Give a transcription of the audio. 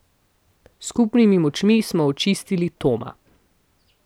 S skupnimi močmi smo očistili Toma.